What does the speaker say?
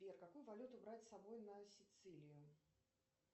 сбер какую валюту брать с собой на сицилию